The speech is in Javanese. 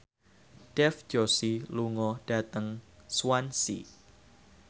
Dev Joshi lunga dhateng Swansea